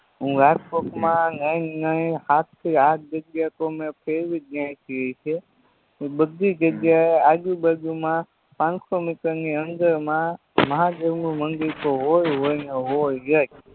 હું રાજકોટમાં નય નય ને સાત થી આઠ જગ્યાતો મેં ફેરવીજ નાયખી હશે પણ બધી જગ્યાએ આજુ બાજુમાં પાનસો મીટરની અંદરમાં મહાદેવનું મંદિરતો હોય હોય ને હોયજ